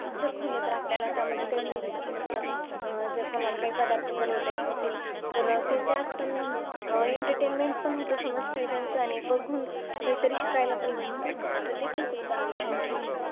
जर खोललं तर आपल्याला त्या मध्ये काही पण भेटतात असं आह जर कोणा ला काही पदार्थ बनवता येत नसेल तर ते त्यात पण Entertainment पण होतो समज काही त्यांच बघून काहीतरी शिकायला पण भेटत. तर ते पण खूप चांगली आणखीन